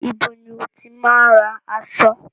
Ibo ni o ti máa ń ra aṣọ?